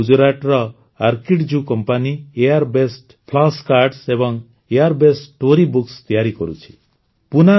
ସେହିଭଳି ଗୁଜରାଟର ଆର୍କିଡଜୁ company AR based flash cards ଏବଂ ଆର୍ ବେସ୍ଡ ଷ୍ଟୋରୀ ବୁକ୍ସ ତିଆରି କରୁଛି